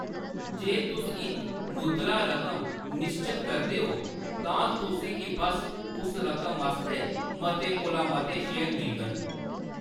जे तुस इक मुद्रा रकम निश्चत करदे हो, तां तुसें गी बस उस रकम आस्तै मते कोला मते शेयर मिलङन।